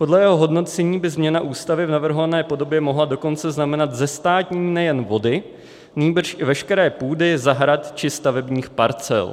Podle jeho hodnocení by změna Ústavy v navrhované podobě mohla dokonce znamenat zestátnění nejen vody, nýbrž i veškeré půdy, zahrad či stavebních parcel.